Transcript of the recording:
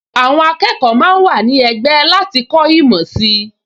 Àwọn akẹ́kọ̀ọ máa ń wà ní ẹgbẹ́ láti kọ́ ìmọ̀ sí i